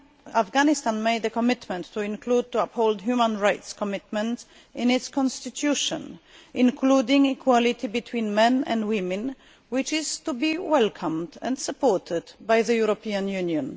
Afghanistan made a commitment to include the upholding of human rights commitments in its constitution, including equality between men and women, which is to be welcomed and supported by the European Union.